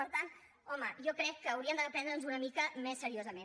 per tant home jo crec que hauríem de prendre’ns ho una mica més seriosament